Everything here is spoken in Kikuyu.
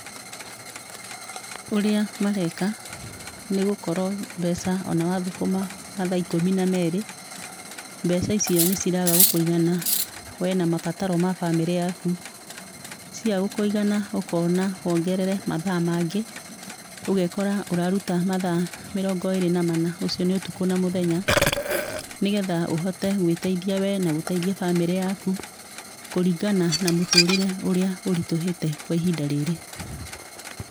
Ũrĩa mareka, nĩgũkorwo mbeca ona wathũkũma mathaa ikũmi na meerĩ, mbeca icio nĩciraga gũkũigana we na mabataro ma bamĩrĩ yaku. Ciaga gũkũigana ũkona wongerere mathaa mangĩ ũgekora ũraruta mathaa mĩrongo ĩĩrĩ na mana, ũcio nĩ ũtukũ na mũthenya nĩgetha ũhote gwĩteithia we na gũteithia bamĩrĩ yaku kũringana na mũtũrĩre ũrĩa ũritũhĩte kwa ihinda rĩrĩ.